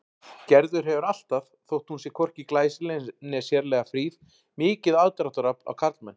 Gerður hefur alltaf, þótt hún sé hvorki glæsileg né sérlega fríð, mikið aðdráttarafl á karlmenn.